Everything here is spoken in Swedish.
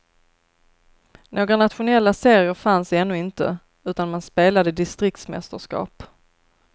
Några nationella serier fanns ännu inte utan man spelade distriktsmästerskap.